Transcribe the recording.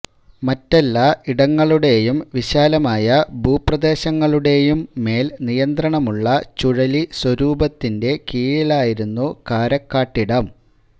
മറ്റെല്ലാ ഇടങ്ങളുടേയും വിശാലമായ ഭൂപ്രദേശങ്ങളുടെയും മേൽ നിയന്ത്രണമുള്ള ചുഴലി സ്വരൂപത്തിന്റെ കീഴിലായിരുന്നു കാരക്കാട്ടിടം